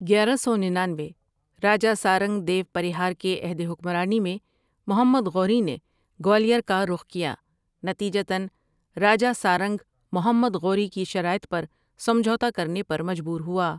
گیارہ سو ننانوے راجہ سارنگ دیو پریہار کے عہد حکمرانی میں محمد غوری نے گوالیار کا رخ کیا، نتیجتاً راجہ سارنگ محمد غوری کی شرائط پر سمجھوتہ کرنے پر مجبور ہوا۔